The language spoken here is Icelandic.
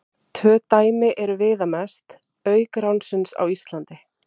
Tvö dæmi eru viðamest, auk ránsins á Íslandi.